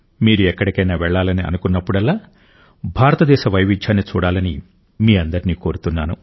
మీరు ఎక్కడికైనా వెళ్లాలని అనుకున్నప్పుడల్లా భారతదేశ వైవిధ్యాన్ని చూడాలని మీ అందరినీ కోరుతున్నాను